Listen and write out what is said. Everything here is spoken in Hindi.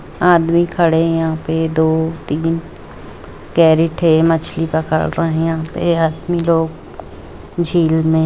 आदमी खड़े हैं यहां पर दो-तीन कैरेट है मछली पकड़ रही है यहां पर आदमी लोग झिल में।